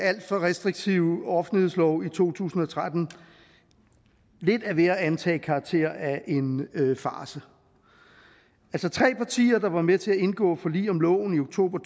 for restriktive offentlighedslov i to tusind og tretten lidt er ved at antage karakter af en farce tre partier der var med til at indgå forlig om loven i oktober